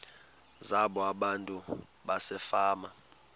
zabo abantu basefama